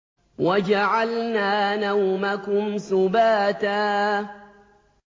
وَجَعَلْنَا نَوْمَكُمْ سُبَاتًا